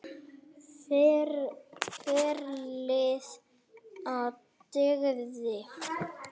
Ferlið og dygðin.